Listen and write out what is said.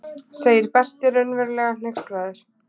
segir Berti raunverulega hneykslaður.